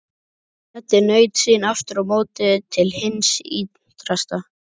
Teddi naut sín aftur á móti til hins ýtrasta.